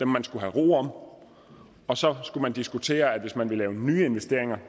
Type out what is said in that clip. man skulle have ro om og så skulle man diskutere at hvis man ville lave nye investeringer